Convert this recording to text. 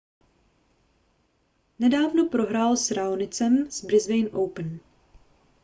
nedávno prohrál s raonicem v brisbane open